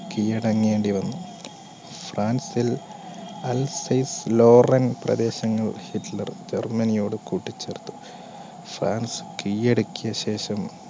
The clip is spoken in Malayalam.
കീഴടങ്ങേണ്ടി വന്നു. ഫ്രാൻസ് പ്രദേശങ്ങൾ ഹിറ്റ്ലർ ജർമ്മനിയോട് കൂട്ടിച്ചേർത്തു ഫ്രാൻസ് കീഴടക്കിയ ശേഷം